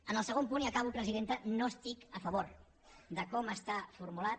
en el segon punt i acabo presidenta no estic a favor de com està formulat